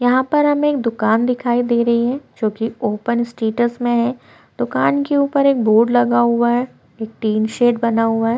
यहाँ पर हमें एक दुकान दिखाई दे रही है जो की ओपन स्टेटस में है दुकान के ऊपर एक बोर्ड लगा हुआ है एक टिन सेट बना हुआ है।